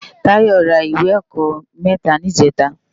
Tayo rá iwé èkò mètá nijètá